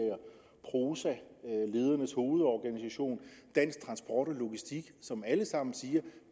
prosa ledernes hovedorganisation dansk transport og logistik som alle sammen siger